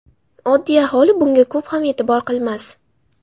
Oddiy aholi, bunga ko‘p ham e’tibor qilmas.